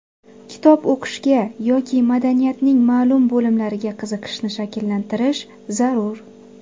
Kitob o‘qishga yoki madaniyatning ma’lum bo‘limlariga qiziqishni shakllantirish zarur.